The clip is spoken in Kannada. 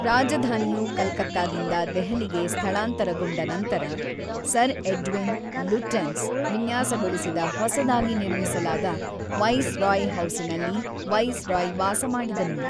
ರಾಜಧಾನಿಯು ಕಲ್ಕತ್ತಾದಿಂದ ದೆಹಲಿಗೆ ಸ್ಥಳಾಂತರಗೊಂಡ ನಂತರ, ಸರ್ ಎಡ್ವಿನ್ ಲುಟ್ಯೆನ್ಸ್ ವಿನ್ಯಾಸಗೊಳಿಸಿದ ಹೊಸದಾಗಿ ನಿರ್ಮಿಸಲಾದ ವೈಸರಾಯ್ ಹೌಸಿನಲ್ಲಿ ವೈಸರಾಯ್ ವಾಸಮಾಡಿದನು.